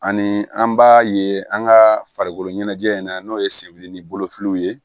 Ani an b'a ye an ka farikolo ɲɛnajɛ in na n'o ye sebiri ni bolofiw ye